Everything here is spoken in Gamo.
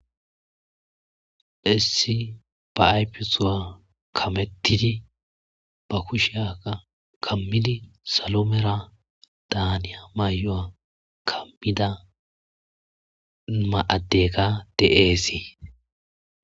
issi ba aypisowa kamettidi ba kusheyaka kammidi saloomera daaniya may7o7a kammida ma7adeka de7eesii